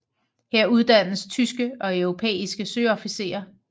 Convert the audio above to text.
Her uddannes tyske og europæiske søofficerer